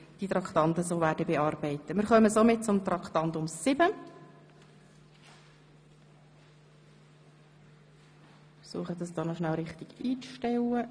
Wir werden dies so vermerken und die Traktanden entsprechend behandeln.